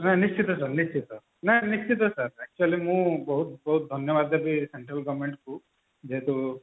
ନା ନିଶ୍ଚିନ୍ତ sir ନିଶ୍ଚିନ୍ତ ନା ନିଶ୍ଚିତ sir actually ବହୁତ ବହୁତ ଧନ୍ୟବାଦ ଦେବୀ central government କୁ ବହୁତ